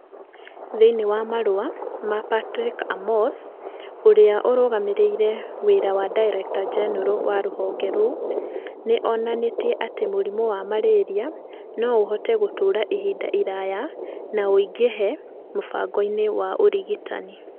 Thĩinĩ wa marũa ma Patrick Amoth, ũrĩa ũrarũgamĩrĩra wĩra wa Director-General wa rũhonge rũu, nĩ onanirie atĩ mũrimũ wa malaria no ũhote gũtũũra ihinda iraya na ũingĩhe mũbango-inĩ wa ũrigitani.